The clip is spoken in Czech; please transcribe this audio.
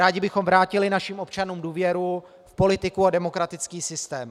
Rádi bychom vrátili našim občanům důvěru v politiku a demokratický systém.